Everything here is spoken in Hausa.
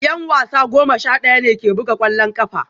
Yan wasa goma sha daya ne ke buga kwallon kafa